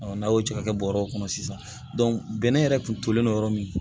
n'a y'o cɛ ka kɛ bɔrɛ kɔnɔ sisan bɛnnɛ yɛrɛ kun tolen don yɔrɔ min